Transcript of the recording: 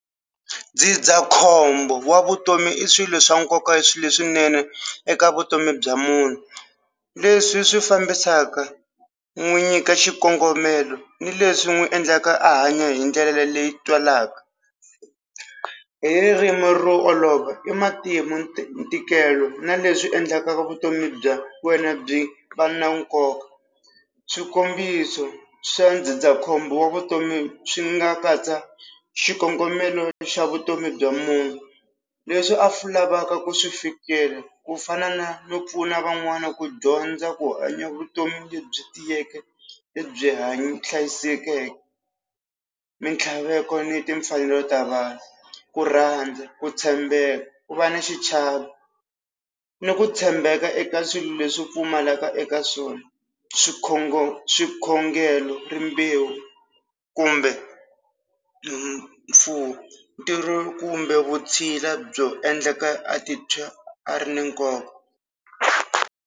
Ndzindzakhombo wa vutomi i swilo swa nkoka swilo swinene eka vutomi bya munhu leswi swi fambisaka n'wi nyika xikongomelo ni leswi n'wi endlaka a hanya hi ndlela leyi twalaka hi ririmi ro olova i matimu ntikelo na leswi endleka vutomi bya wena byi va na nkoka swikombiso swa ndzindzakhombo wa vutomi swi nga katsa xikongomelo xa vutomi bya munhu leswi a swi lavaka ku swi fikela ku fana na no pfuna van'wana ku dyondza ku hanya vutomi lebyi tiyeke lebyi hlayisekeke mintlhaveko ni timfanelo ta vanhu ku rhandza ku tshembeka ku va na xichavo ni ku tshembeka eka swilo leswi pfumalaka eka swona swikhongelo rimbewu kumbe mimfuwo ntirho kumbe vutshila byo endleka a titwa a ri na nkoka.